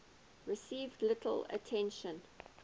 received little attention